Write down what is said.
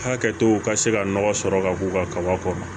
Hakɛtow ka se ka nɔgɔ sɔrɔ ka k'u ka kaba kɔnɔ